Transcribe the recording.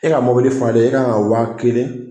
E ka mobili falen e kan ka wa kelen